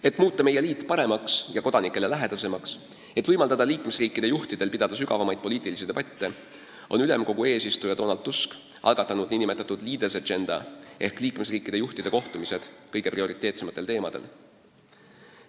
Et muuta meie liit paremaks ja kodanikele lähedasemaks, et võimaldada liikmesriikide juhtidel pidada sügavamaid poliitilisi debatte, on Euroopa Ülemkogu eesistuja Donald Tusk algatanud nn Leaders’ Agenda ehk liikmesriikide juhtide kohtumised prioriteetsete teemade aruteluks.